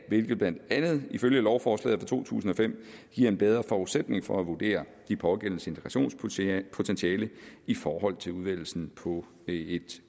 hvilket blandt andet ifølge lovforslaget fra to tusind og fem giver en bedre forudsætning for at vurdere de pågældendes integrationspotentiale i forhold til udvælgelsen på et